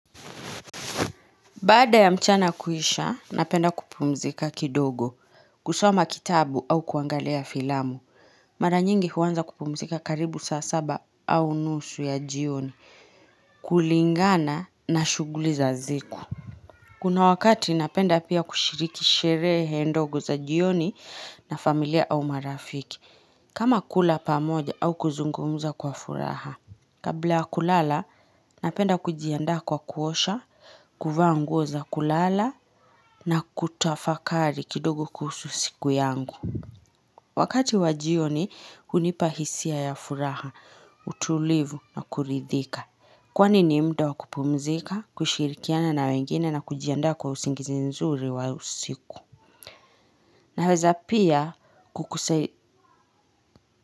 Baada ya mchana kuisha, napenda kupumzika kidogo, kusoma kitabu au kuangalia filamu. Mara nyingi huanza kupumzika karibu saa saba au nusu ya jioni. Kulingana na shughuli za ziku. Kuna wakati napenda pia kushiriki sherehe ndogo za jioni na familia au marafiki. Kama kula pamoja au kuzungumuza kwa furaha. Kabla ya kulala, napenda kujiandaa kwa kuosha, kuvaa nguoza kulala na kutafakari kidogo kuhusu siku yangu. Wakati wajioni, unipahisia ya furaha, utulivu na kuridhika. Kwani nimda wakupumzika, kushirikiana na wengine na kujiandaa kwa usingizi nzuri wa usiku. Naweza pia kukusei.